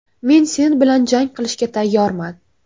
Men sen bilan jang qilishga tayyorman.